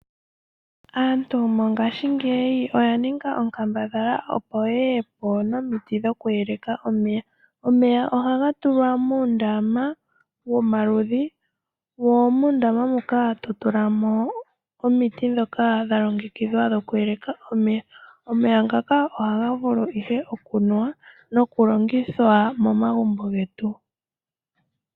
Aantu mongashi ngeyi Oya ninga onkambadhala opo yeyepo nomiti dhokuyeleka omeya, omeya ohanga tulwa muundama womaludhi, mo muundama muka totulamo omiti dhoka dhalongekidhwa dhokuyeleka omeya, omeya ngaka ohangavulu ihe okunuwa nokulongithwa momagumbo ngetu.